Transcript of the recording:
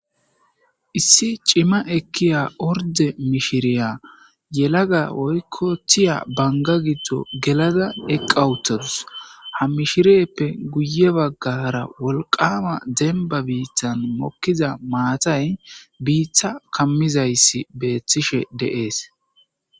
Issi coma ekiya order mishiriya yelaga woyko tiya Banga gido gelada eqa uttadus ha mishiriype guye bagara wolqama demba bitan mokiza maatay bita kamizaysi betishe de'es